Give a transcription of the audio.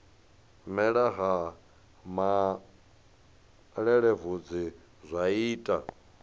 mela ha malelebvudzi zwa ita